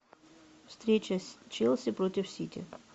встреча с челси против сити